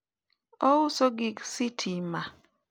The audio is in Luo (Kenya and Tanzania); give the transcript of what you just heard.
ouso gik sitima